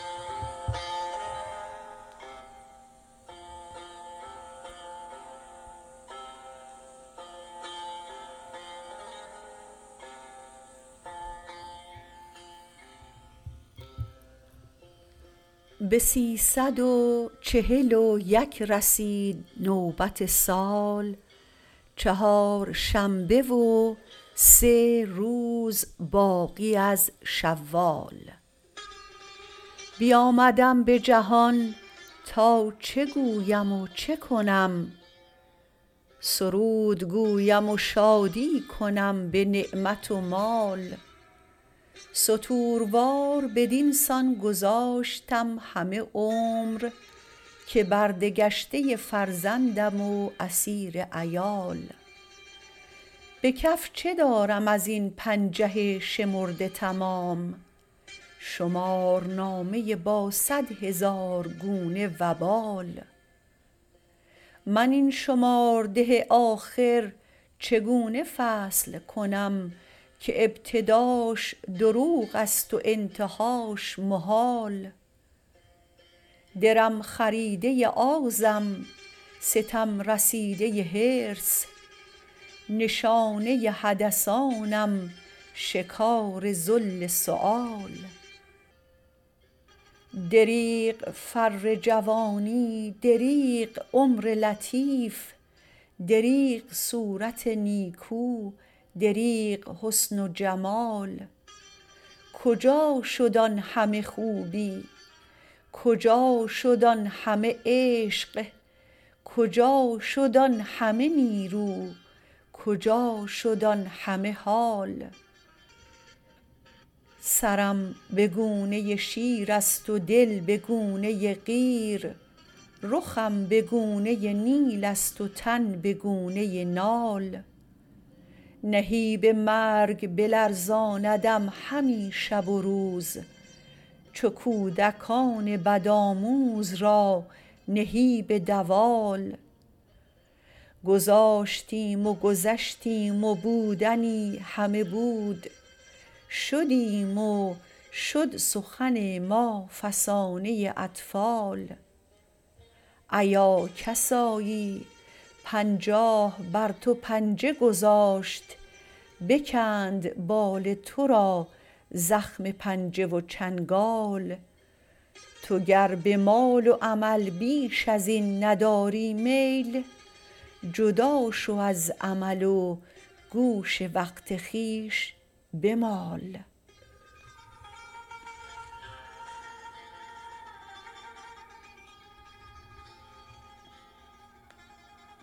به سیصد و چهل و یک رسید نوبت سال چهارشنبه و سه روز باقی از شوال بیامدم به جهان تا چه گویم و چه کنم سرود گویم و شادی کنم به نعمت و مال ستوروار بدین سان گذاشتم همه عمر که برده گشته فرزندم و اسیر عیال به کف چه دارم از این پنجه شمرده تمام شمارنامه با صدهزار گونه وبال من این شمارده آخر چگونه فصل کنم که ابتداش دروغ است و انتهاش محال درم خریده آزم ستم رسیده حرص نشانه حدثانم شکار ذل سؤال دریغ فر جوانی دریغ عمر لطیف دریغ صورت نیکو دریغ حسن و جمال کجا شد آن همه خوبی کجا شد آن همه عشق کجا شد آن همه نیرو کجا شد آن همه حال سرم به گونه شیر است و دل به گونه قیر رخم به گونه نیل است و تن به گونه نال نهیب مرگ بلرزاندم همی شب و روز چو کودکان بدآموز را نهیب دوال گذاشتیم و گذشتیم و بودنی همه بود شدیم و شد سخن ما فسانه اطفال ایا کسایی پنجاه بر تو پنجه گذاشت بکند بال تو را زخم پنجه و چنگال تو گر به مال و امل بیش از این نداری میل جدا شو از امل و گوش وقت خویش بمال